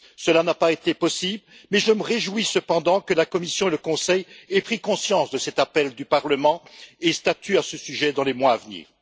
Cela n'a pas été possible, mais je me réjouis cependant que la Commission et le Conseil aient pris conscience de cet appel du Parlement et statuent à ce sujet dans les mois à venir.